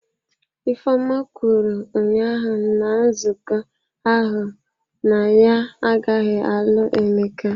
Ifeoma kwuru ụnyahụ na nzukọ ahụ na ya agaghị alụ Emeka.